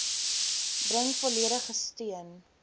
bring volledige steun